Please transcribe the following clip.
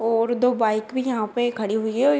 और दो बाइक भी यहाँ पर खड़ी हुई हैं और ये --